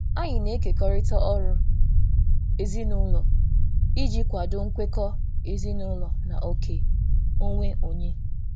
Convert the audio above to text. Anyị na-ekekọrịta ọrụ ezinụlọ iji kwado nkwekọ ezinụlọ na oke onwe onye.